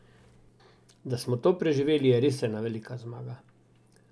Da smo to preživeli, je res ena velika zmaga.